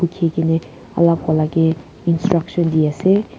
khe kini alag vala ke instructions de ase.